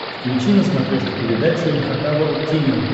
включи на смотрешке передачу эн эйч кей волд ти ви